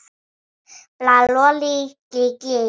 HINSTA KVEÐJA Elsku amma Ásta.